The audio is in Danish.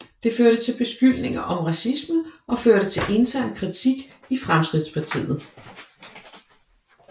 Det førte til beskyldninger om racisme og førte til intern kritik i Fremskridtspartiet